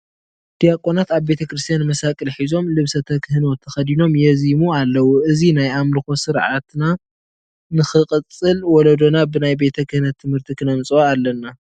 ዲያቆናት ኣብ ቤተ ክርስቲያን መሳቕል ሒዞም ልብሰ ተክህኖ ተኸዲኖም የዝይሙ ኣለዉ፡፡ እዚ ናይ ኣምልኮ ስርዓትና ንኽቕፅል ወለዶና ብናይ ቤተ ክህነት ትምህርቲ ክነምፅኦ ኣለና፡፡